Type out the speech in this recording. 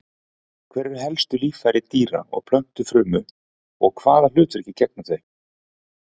Hver eru helstu líffæri dýra- og plöntufrumu og hvaða hlutverki gegna þau?